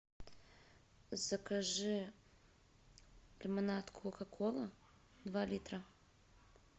закажи лимонад кока кола два литра